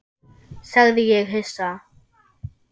sagði ég hissa.